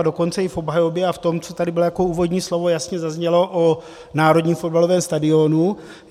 A dokonce i v obhajobě a v tom, co tady bylo jako úvodní slovo, jasně zaznělo o národním fotbalovém stadionu.